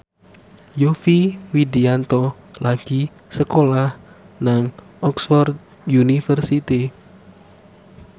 Yovie Widianto lagi sekolah nang Oxford university